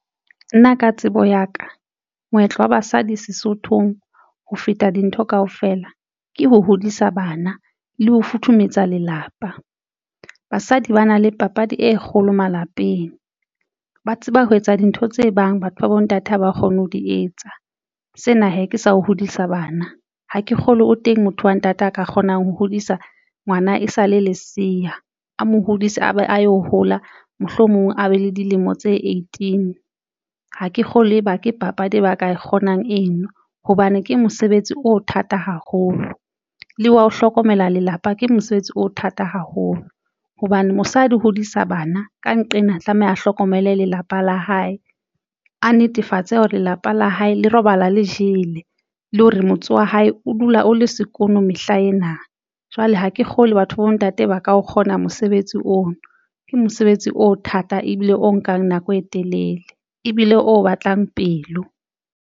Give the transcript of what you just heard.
Nna ka tsebo ya ka moetlo wa basadi Sesothong ho feta dintho kaofela ke ho hodisa bana le ho futhumetsa lelapa. Basadi ba na le papadi e kgolo malapeng ba tseba ho etsa dintho tse bang batho ba bontate ha ba kgone ho di etsa sena he ke sa ho hodisa bana ha ke kgolwe o teng motho wa ntate a ka kgonang ho hodisa ngwana e sale lesea a mo hodise a yo hola, mohlomong a be le dilemo tse eighteen. Ha ke kgolwe leba ke papadi e ba ka kgonang eno hobane ke mosebetsi o thata haholo le wa ho hlokomela lelapa ke mosebetsi o thata haholo hobane mosadi hodisa bana ka nqena tlameha a hlokomele lelapa la hae, a netefatse hore lelapa la hae le robala le jele le hore motse wa hae o dula o le sekono mehla ena. Jwale ha ke kgolwe batho ba bontate ba ka o kgona mosebetsi oo ke mosebetsi o thata ebile o nkang nako e telele ebile o batlang pelo.